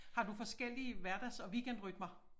Har du forskellige hverdags og weekendrytmer?